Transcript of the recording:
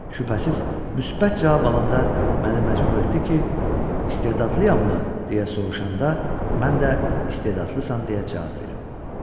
Şübhəsiz müsbət cavab alanda məni məcbür etdi ki, istedadlıyam mı deyə soruşanda mən də istedadlısan deyə cavab verim.